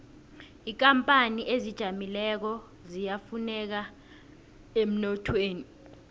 inkapani ezizijameleko ziyafuneka emnothweni